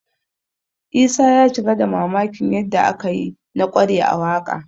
Isa ya cika da mamakin yadda aka yi na ƙware a waƙa